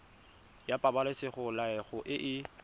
ya pabalesego loago e e